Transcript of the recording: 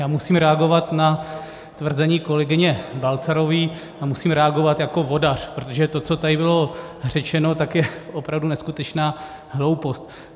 Já musím reagovat na tvrzení kolegyně Balcarové a musím reagovat jako vodař, protože to, co tady bylo řečeno, tak je opravdu neskutečná hloupost.